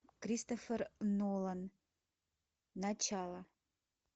кристофер нолан начало